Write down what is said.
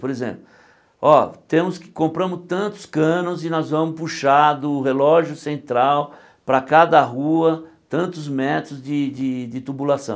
Por exemplo, ó temos que compramos tantos canos e nós vamos puxar do relógio central para cada rua tantos metros de de de tubulação.